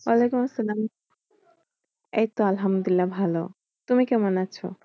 ওয়ালাইকুম আসসালাম এই তো আলহামদুল্লিয়াহ ভালো। তুমি কেমন আছো?